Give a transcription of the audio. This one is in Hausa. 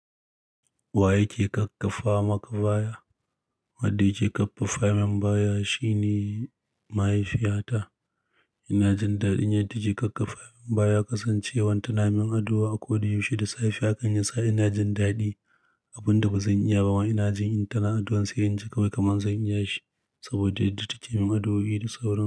Wa yake ƙaƙƙafa maka baya? Wadda yake ƙaƙƙafa min baya shine mahaifiyata. Inajin daɗin yadda take ƙaƙƙafa min baya ƙasancewan ta na min addu'a a koda yaushe da safe hakan yasa ina jin daɗi. Abun da ba zan iya ba ma ina jin in ta na addu'an sai in ji kawai kaman zan iya shi, saboda yadda take min addu'o'i da sauran su.